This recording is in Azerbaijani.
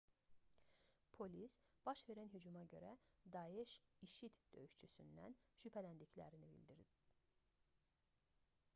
polis baş verən hücuma görə daeş i̇şi̇d döyüşçüsündən şübhələndiklərini bildirib